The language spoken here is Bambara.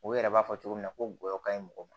O yɛrɛ b'a fɔ cogo min na ko ngɔyɔ ka ɲi mɔgɔ ma